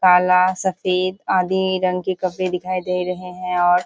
काला सफेद आदि रंग के कपड़े दिखाई दे रहे हैं और --